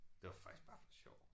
Det var faktisk bare for sjov